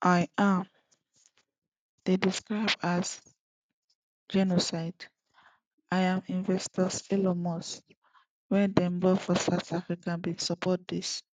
im describe as genocide im advisor elon musk wia dem born for south africa bin support dis